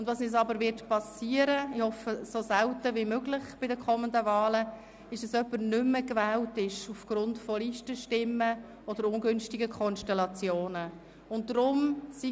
Uns wird aber geschehen, dass jemand aufgrund von Listenstimmen oder ungünstigen Konstellationen nicht mehr gewählt wird, und ich hoffe, das geschieht bei den kommenden Wahlen so selten wie möglich.